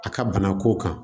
A ka bana ko kan